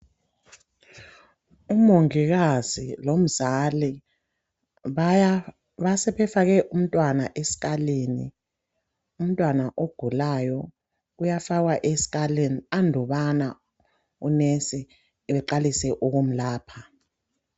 Umongikazi lomzali sebefake umntwana esikhalini umntwana ogulayo uyafakwa esikhalini andubana unenzi sebeqalise ukumelapha